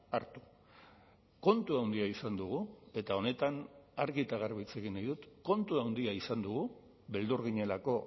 hartu kontu handia izan dugu eta honetan argi eta garbi hitz egin nahi dut kontu handia izan dugu beldur ginelako